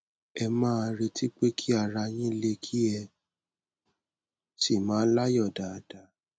ẹ máa retí pé kí ara yín le kí ẹ sì máa láyọ dáadáa